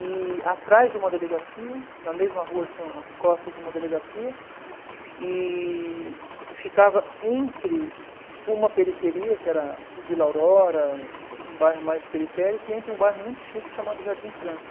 E atrás de uma delegacia, na mesma rua tinha as costas de uma delegacia, e e ficava entre uma periferia, que era Vila Aurora, um bairro mais periférico, e entre um bairro muito chique chamado Jardim França.